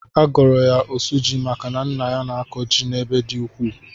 A gọrọ ya osuji maka na nna ya na-akọ ji n'ebe ọ dị ukwuu.